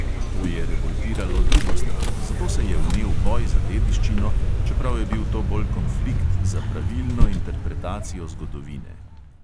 To je revoltiralo drugo stran, zato se je vnel boj za dediščino, čeprav je bil to bolj konflikt za pravilno interpretacijo zgodovine.